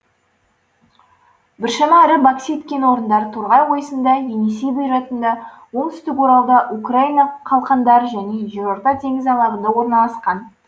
біршама ірі боксит кен орындары торғай ойысында енисей бұйратында оңтүстік оралда украина қалқандары және жерорта теңізі алабында орналасқан